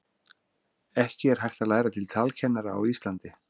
ekki er hægt að læra til talkennara á íslandi